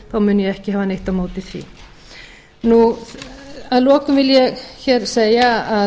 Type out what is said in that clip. þá mun ég ekki hafa neitt á móti því að lokum vil ég hér segja að